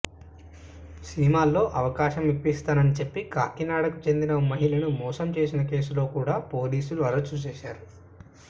సినిమాల్లో అవకాశం ఇప్పిస్తానని చెప్పి కాకినాడకు చెందిన ఓ మహిళను మోసం చేసిన కేసులో కూడా పోలీసులు అరెస్ట్ చేశారు